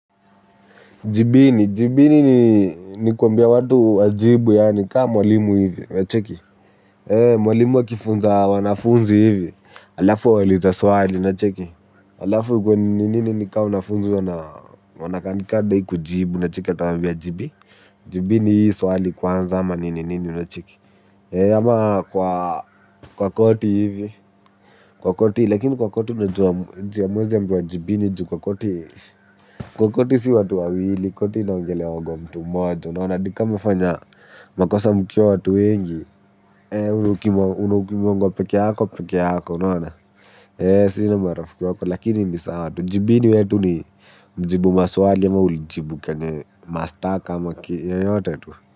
Jibini ni kuambia watu wajibu yaani kaa mwalimu hivi, unacheki. Mwalimu akifunza wanafunzi hivi, halafu awaulize swali, unacheki. Halafu ikuwe nini nini ni ka wanafunzi wanakaa ni kama hawadai kujibu. Utawaambia, jibini hii swali kwanza ama nini nini unacheki. Ama kwa koti hivi, kwa koti, lakini kwa koti unajua juu hamwezi ambiwa jibini juu kwa koti. Kwa koti si watu wawili koti inaongelewaga mtu mmoja Nona, hadi ka mmefanya makosa mkiwa watu wengi, ukibonga peke yako, peke yako, unona. Si ni marafiki wako, lakini ni sawa tu. Jibini wetu ni mjibu maswali ama ulijibu kenye mashtaka.